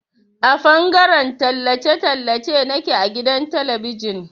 A fangaren tallace tallace nake a gidan talabijin.